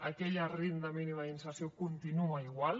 aquella renda mínima d’inserció continua igual